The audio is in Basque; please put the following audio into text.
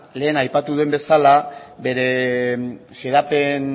lehen aipatu duen bezala